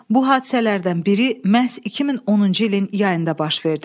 Bu hadisələrdən biri məhz 2010-cu ilin yayında baş verdi.